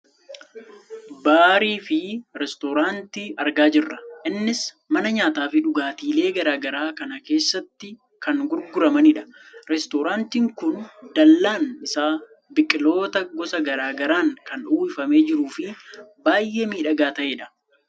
baarii fi reesturaanti argaa jirra . innis mana nyaataafi dhugaatiilee gara garaa kan keessatti kan gurguramanidha. reesturaantiin kun dallaan isaa biqiltoota gosa gara garaan kan uwwifamee jiruufi baayyee midhagaa ta'edha.